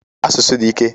Asụsụ di ike.